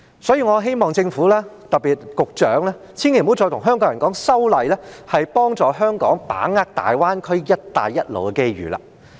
所以，我希望政府——特別是局長——千萬不要再跟香港人說，修例可以幫助香港把握大灣區"一帶一路"的機遇。